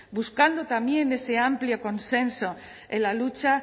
buscando también de ese amplio consenso en la lucha